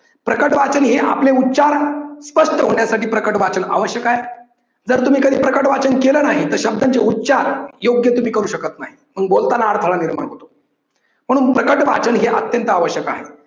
प्रकट वाचन हे आपले उच्चार स्पष्ट होण्यासाठी प्रकट वाचन आवश्यक आहे, जर तुम्ही कधी प्रकट वाचन केलं नाही तर शब्दांचे उच्चार योग्य तुम्ही करू शकत नाही. मग बोलतांना अरथडा निर्माण होतो. म्हणून प्रकट वाचन हे अत्यंत आवश्यक आहे.